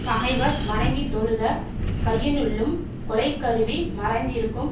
பகைவர் வணங்கித் தொழுத கையினுள்ளும் கொலைக்கருவி மறைந்திருக்கும்